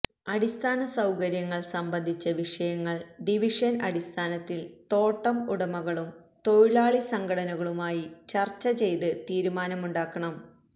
അടിസ്ഥാന സൌകര്യങ്ങള് സംബന്ധിച്ച വിഷയങ്ങള് ഡിവിഷന് അടിസ്ഥാനത്തില് തോട്ടം ഉടമകളും തൊഴിലാളി സംഘടനകളുമായി ചര്ച്ച ചെയ്ത് തീരുമാനമുണ്ടാക്കണം